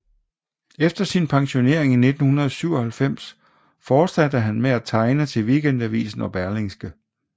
Efter sin pensionering i 1997 fortsatte han med at tegne til Weekendavisen og Berlingske